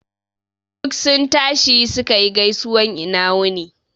Duk sun tashi suka yi gaisuwan ina wuni